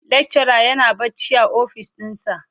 lecturer yana bacci a ofis dinsa.